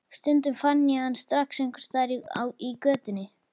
Stundum fann ég hann strax einhvers staðar í götunni.